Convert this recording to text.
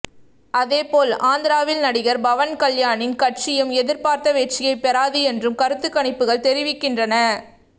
அதேபோல் ஆந்திராவில் நடிகர் பவன்கல்யாணின் கட்சியும் எதிர்பார்த்த வெற்றியை பெறாது என்றும் கருத்துக்கணிப்புகள் தெரிவிக்கின்றன